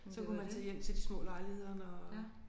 Så kunne man tage hjem til de små lejligheder når